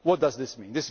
system. What does this